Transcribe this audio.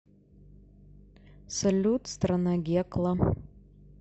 салют страна гекла